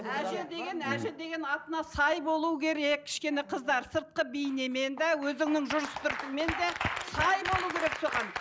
әже деген әже деген атына сай болу керек кішкене қыздар сыртқы бейнемен де өзіңнің жүріс тұрысыңмен де сай болу керек соған